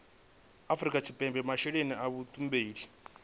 afrika tshipembe masheleni a vhutumbuli